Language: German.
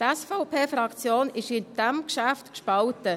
Die SVP-Fraktion ist in diesem Geschäft gespalten.